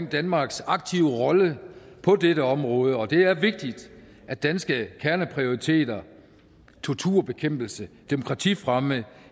danmarks aktive rolle på dette område og det er vigtigt at danske kerneprioriteter torturbekæmpelse demokratifremme